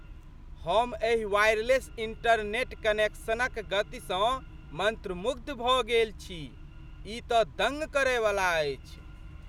हम एहि wireless internet कनेक्शनक गतिसँ मन्त्रमुग्ध भऽ गेल छी। ई तँ दङ्ग करैवला अछि।